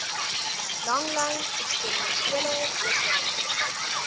langlyn eksperimentele vissery